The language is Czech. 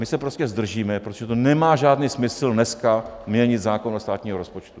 My se prostě zdržíme, protože to nemá žádný smysl dneska měnit zákon o státním rozpočtu.